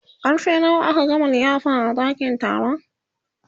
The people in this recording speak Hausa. karfe nawa aka gama liyafa a ɗakin taron